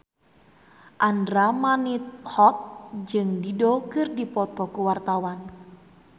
Andra Manihot jeung Dido keur dipoto ku wartawan